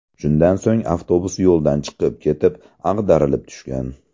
Shundan so‘ng avtobus yo‘ldan chiqib ketib, ag‘darilib tushgan.